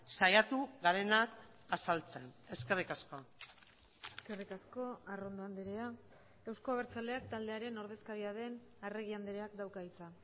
saiatu garenak azaltzen eskerrik asko eskerrik asko arrondo andrea euzko abertzaleak taldearen ordezkaria den arregi andreak dauka hitza